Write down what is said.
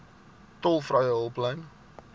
tolvrye hulplyn